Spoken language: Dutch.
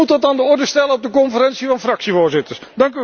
U moet dat aan de orde stellen op de Conferentie van fractievoorzitters.